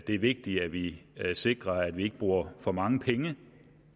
det er vigtigt at vi sikrer at vi ikke bruger for mange penge